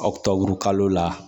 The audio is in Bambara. Ɔktɔburu kalo la